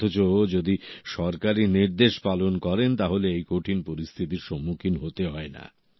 অথচ যদি সরকারি নির্দেশ পালন করেন তাহলে এই কঠিন পরিস্থিতির সম্মুখীন হতে হয় না